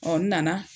n nana